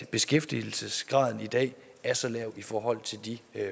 at beskæftigelsesgraden i dag er så lav i forhold til de